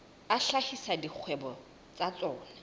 a hlahisa dikgwebo tsa tsona